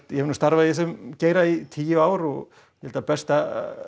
ég hef nú starfað í þessum geira í tíu ár og ég held að besta